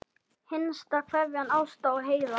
Hinsta kveðja, Ásta og Heiðar.